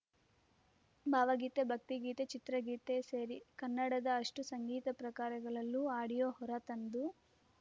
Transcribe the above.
ಭಾವಗೀತೆ ಭಕ್ತಿಗೀತೆ ಚಿತ್ರಗೀತೆ ಸೇರಿ ಕನ್ನಡದ ಅಷ್ಟುಸಂಗೀತ ಪ್ರಕಾರಗಳಲ್ಲೂ ಆಡಿಯೋ ಹೊರ ತಂದು